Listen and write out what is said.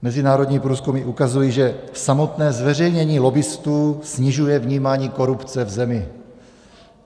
Mezinárodní průzkumy ukazují, že samotné zveřejnění lobbistů snižuje vnímání korupce v zemi.